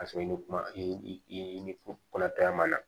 K'a sɔrɔ i ni kuma i i ni kɔnɔtɔya ma na